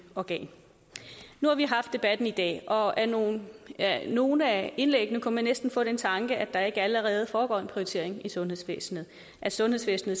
organ nu har vi haft debatten i dag og af nogle af nogle af indlæggene kunne man næsten få den tanke at der ikke allerede foregår en prioritering i sundhedsvæsenet at sundhedsvæsenet